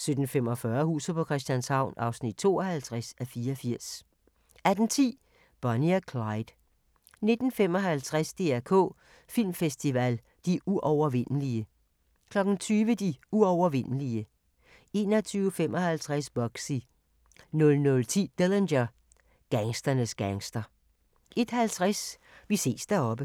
17:45: Huset på Christianshavn (52:84) 18:10: Bonnie og Clyde 19:55: DR K Filmfestival – De uovervindelige 20:00: De uovervindelige 21:55: Bugsy 00:10: Dillinger – Gangsternes gangster 01:50: Vi ses deroppe